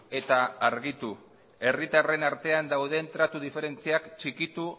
eta argitu herritarren artean dauden tratu diferentziak txikitu